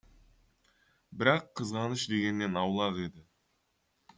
бірақ қызғаныш дегеннен аулақ еді